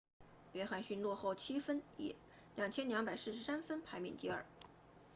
约翰逊落后7分以2243分排名第二